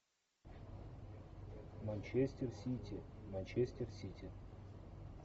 манчестер сити манчестер сити